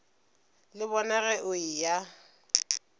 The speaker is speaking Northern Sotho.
le bona ge o eya